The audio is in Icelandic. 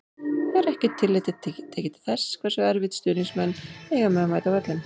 Er ekkert tillit tekið til þess hversu erfitt stuðningsmenn eiga með að mæta á völlinn?